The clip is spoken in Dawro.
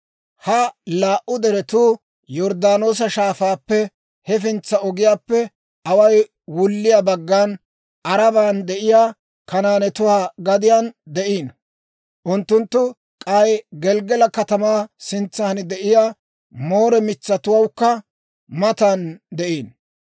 Ha laa"u deretuu Yorddaanoosa Shaafaappe hefintsana ogiyaappe away wulliyaa baggan, Aaraban de'iyaa Kanaanetuwaa gadiyaan de'iino; unttunttu k'ay Gelggala katamaa sintsan de'iyaa Moore mitsawukka matan de'iino.